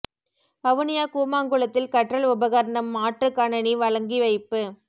வவுனியா கூமாங்குளத்தில் கற்றல் உபகரணம் மாற்று கணனி வழங்கி வைப்பு